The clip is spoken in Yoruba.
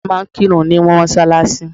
Wọ́n máa ń kírun ní mọ́sálásí.